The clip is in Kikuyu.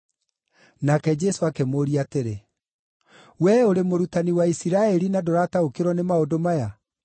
Nake Jesũ akĩmũũria atĩrĩ, “Wee ũrĩ mũrutani wa Isiraeli na ndũrataũkĩrwo nĩ maũndũ maya?